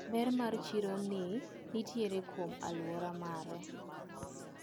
Ber mar chironi nitiere kuom aluora mare.